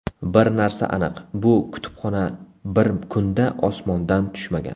Bir narsa aniq, bu kutubxona bir kunda osmondan tushmagan.